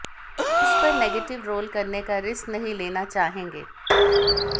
उस पर negative role करने का रिस्क नहीं लेना चाहेंगे